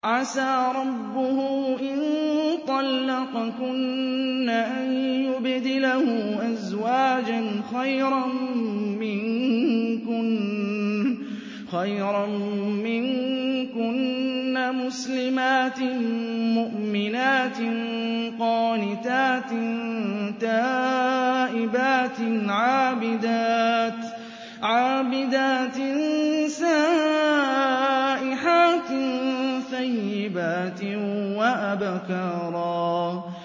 عَسَىٰ رَبُّهُ إِن طَلَّقَكُنَّ أَن يُبْدِلَهُ أَزْوَاجًا خَيْرًا مِّنكُنَّ مُسْلِمَاتٍ مُّؤْمِنَاتٍ قَانِتَاتٍ تَائِبَاتٍ عَابِدَاتٍ سَائِحَاتٍ ثَيِّبَاتٍ وَأَبْكَارًا